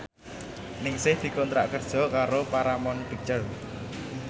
Ningsih dikontrak kerja karo Paramount Picture